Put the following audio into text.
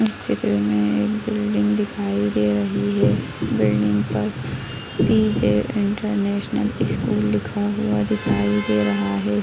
इस चित्र मे एक बिल्डिंग दिखाई दे रही है बिल्डिंग पर पी.जे. इंटरनेशनल स्कूल लिखा हुआ दिखाई दे रहा है।